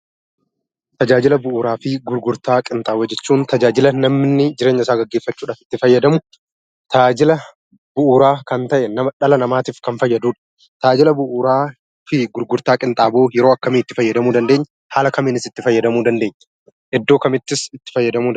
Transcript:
Tajaajila bu'uuraa fi gurgurtaa qinxaaboo jechuun tajaajila namni jireenya isaa gaggeeffachuuf itti fayyadamuudha. Tajaajila bu'uuraa dhala namaaf kan ta'ee dhala namaatiif kan fayyaduu dha. Tajaajila bu'uuraa fi qinxaaboo yeroo Kam Kam itti fayyadamuu dandeenya? Haala kamiinis itti fayyadamuu dandeenya? Iddoo kamittis itti fayyadamuu dandeenya?